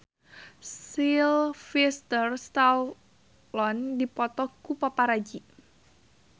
Sylvester Stallone dipoto ku paparazi